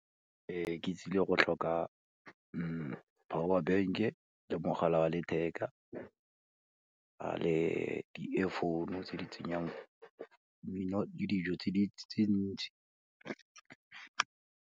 Ke tsile go tlhoka power bank-e le mogala wa letheka le di-earphone-o tse di tsenyang mmino le dijo tse ntši.